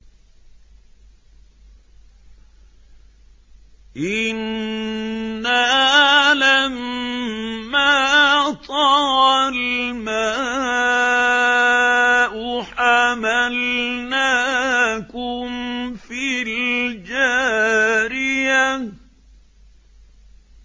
إِنَّا لَمَّا طَغَى الْمَاءُ حَمَلْنَاكُمْ فِي الْجَارِيَةِ